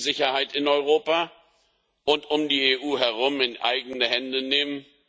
Wir müssen die Sicherheit in Europa und um die EU herum in die eigenen Hände nehmen.